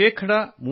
ಹಾಗೂ ಶೇ